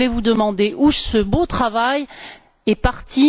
Je voulais vous demander où ce beau travail est parti.